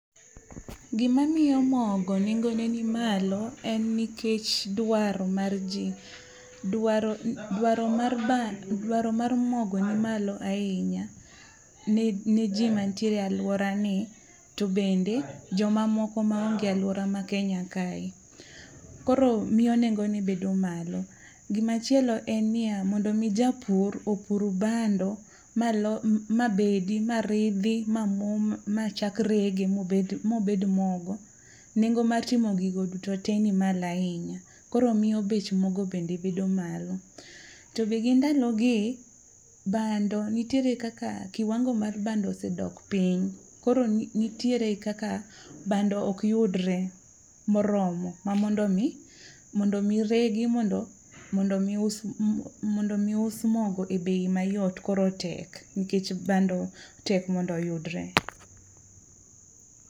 Gima miyo mogo nengo ne ni malo en nikech dwaro mar ji. Dwaro mar ba, dwaro mar mogo ni malo ahinya ne ji mantiere e alwora ni. To bende, joma moko ma onge alwora ma Kenya kae. Koro miyo nengone bedo malo. Gimachielo en niya, mondo mi japur opur bando, ma bedi, ma ridhi, ma mo, machak rege mobed mogo. Nengo mar timo gigo duto te ni malo ahinya, koro miyo bech mogo bende bedo malo. To be gi ndalo gi, bando nitiere kaka kiwango mar bando osedok piny. Koro nitiere kaka bando ok yudre moromo ma mondo mi, mondo mi regi mondo mi us, mondo mi us mogo e bei mayot koro tek. Nikech bando tek mondo yudre.